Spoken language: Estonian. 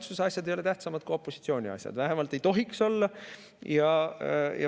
Valitsuse asjad ei ole tähtsamad kui opositsiooni asjad, vähemalt ei tohiks olla.